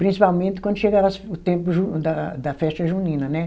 Principalmente quando chegava as, o tempo da da festa junina, né?